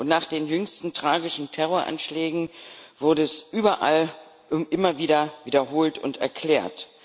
Und nach den jüngsten tragischen Terroranschlägen wurde es überall und immer wieder wiederholt und erklärt.